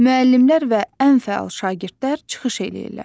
Müəllimlər və ən fəal şagirdlər çıxış eləyirlər.